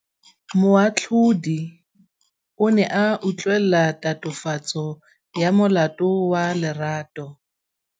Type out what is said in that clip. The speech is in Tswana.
Moatlhodi o ne a utlwelela tatofatsô ya molato wa Lerato.